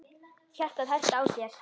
Hjartað herti á sér.